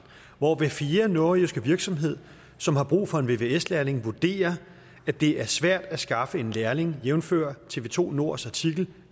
hvor hver fjerde nordjyske virksomhed som har brug for en vvs lærling vurderer at det er svært at skaffe en lærling jævnfør tv2 nords artikel